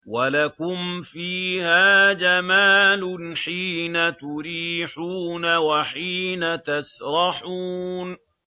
وَلَكُمْ فِيهَا جَمَالٌ حِينَ تُرِيحُونَ وَحِينَ تَسْرَحُونَ